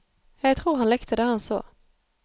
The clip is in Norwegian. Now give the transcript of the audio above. Jeg tror han likte det han så.